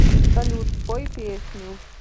салют спой песню